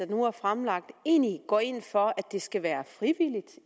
nu er fremsat egentlig går ind for at det skal være frivilligt